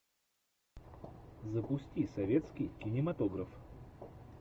запусти советский кинематограф